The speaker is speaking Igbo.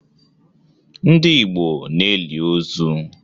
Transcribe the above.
Ndị Igbo na-eli ozu.